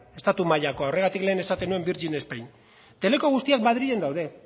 estatu mailakoa horregatik lehen esaten nuen virgin spain teleko guztiak madrilen daude